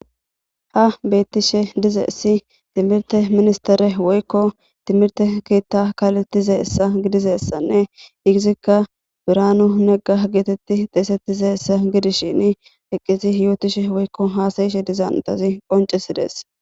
ha beettishe dizeesi timirte minstere woykko timirte keetta kalettizeessa gidizessanne igizikka biraanu negga geetetti xeesettizeessa gidishin eqqisi yootishe woykko haasayishe dizan utazi qoncesidees.